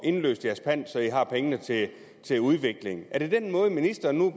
indløst deres pant så i har pengene til til udvikling er det den måde ministeren nu